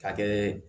Ka kɛ